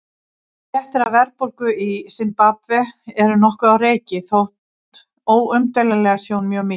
Fréttir af verðbólgu í Simbabve eru nokkuð á reiki þótt óumdeilanlega sé hún mjög mikil.